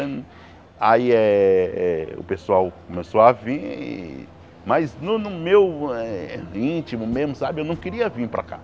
Aí eh eh o pessoal começou a vim, mas no no meu eh íntimo mesmo, sabe, eu não queria vim para cá.